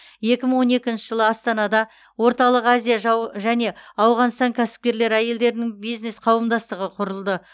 екі мың он екінші жылы астанада орталық азия және ауғанстан кәсіпкер әйелдерінің бизнес қауымдастығы құрылды